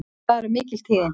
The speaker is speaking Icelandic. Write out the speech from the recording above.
Það eru mikil tíðindi!